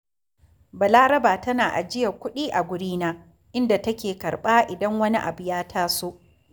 Balaraba tana ajiyar kuɗi a wurina, inda take karɓa idan wani abu ya taso